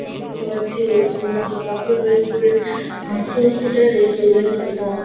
দেখতে পাচ্ছি রেস্টুরেন্ট টি কাপেল রেস্টুরেন্ট আর টু সিটার রেস্টুরেন্ট এবং--